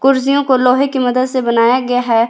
कुर्सियों को लोहे की मदद से बनाया गया है।